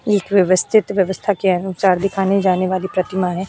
एक व्यवस्थित व्यवस्था के अनुसार दिखाने जाने वाली प्रतिमा है।